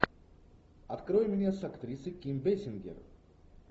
открой мне с актрисой ким бейсингер